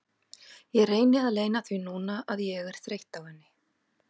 Ég reyni að leyna því núna að ég er þreytt á henni.